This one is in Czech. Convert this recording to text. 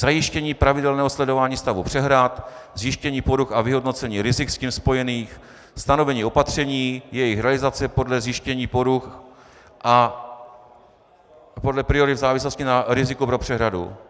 Zajištění pravidelného sledování stavu přehrad, zjištění poruch a vyhodnocení rizik s tím spojených, stanovení opatření, jejich realizace podle zjištění poruch a podle priorit v závislosti na riziku pro přehradu.